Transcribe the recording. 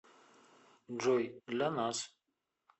джой для нас